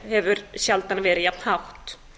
hefur sjaldan verið jafn hátt